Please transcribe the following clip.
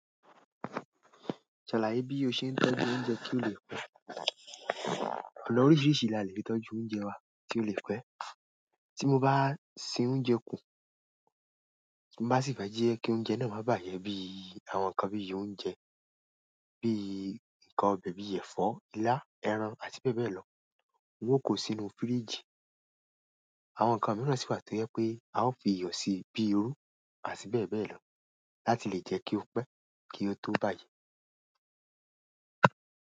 Ṣàlà bí o ṣe ń tọ́jú oúnjẹ kí ó lè pẹ́. Òpó ní oríṣiríṣi ìlànà ìtọ́jú oúnjẹ wà tí ó lè pẹ́. Tí mo bá se oúnjẹ kún, mo má sì fi jẹ́ kí oúnjẹ náà má bàjẹ́ bí àwọn ǹkan bí i oúnjẹ bí i ǹkan ọbẹ̀ bíi ẹ̀fọ́, ilá, ẹran, àti beebeelo. Hun o kó sínú fíríjì. Àwọn ǹkan mìíràn sì wà tí ó jẹ́ pé a ó fi iyọ̀ síi bíi irú àti beebeelo. Láti lè jẹ́ kí ó pẹ́ kí ó tó bàjẹ́.